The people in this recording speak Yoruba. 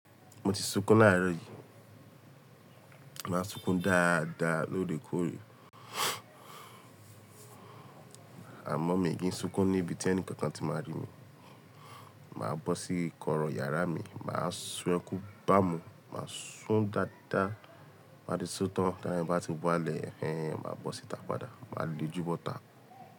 Mo ti sunkún láàárọ̀ yìí. Mo máa n sunkún dáadáa lóòrèkóòrè. Àmọ́ mi kì í sunkún níbi tí ẹni kankan ti máa rí mi. Màá bọ́ sí kọ́rọ̀ yàrá mi, màá sun ekún bá mú, màá sún dáadáa, ti mo ba ti sutọ̀ń tá ara mi bá ti wá lẹ̀, ẹ̀hẹh máa bọ́ síta padà. Màá le jùbọ́ta.